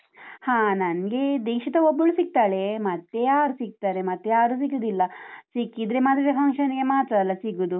ಹಾ, ನನ್ಗೆ ದೀಕ್ಷಿತ ಒಬ್ಳು ಸಿಗ್ತಾಳೆ, ಮತ್ತೆ ಯಾರು ಸಿಗ್ತಾರೆ? ಮತ್ತೆ ಯಾರೂ ಸಿಗುದಿಲ್ಲ, ಸಿಕ್ಕಿದ್ರೆ ಮದುವೆ function ಗೆ ಮಾತ್ರ ಅಲ್ಲ ಸಿಗುದು?